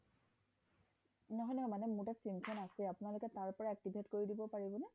নহয় নহয় মানে মোৰ তাত sim খন আছে আপোনালোকে তাৰ পৰা activate কৰি দিব পাৰিব নে